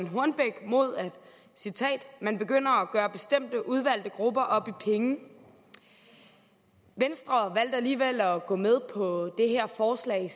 hornbech imod at man begynder at gøre bestemte udvalgte grupper op i penge venstre valgte alligevel at gå med på det her forslag i